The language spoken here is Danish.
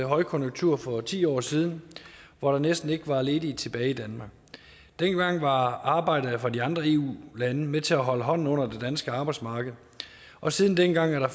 højkonjunkturen for ti år siden hvor der næsten ikke var nogen ledige tilbage i danmark dengang var arbejdet for de andre eu lande med til at holde hånden under det danske arbejdsmarked og siden dengang er der